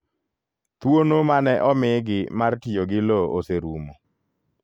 Thuono mane omigi mar tiyo gi lo oserumo.